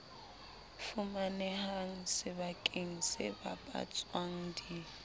fumanehang sebakeng se bapatswang di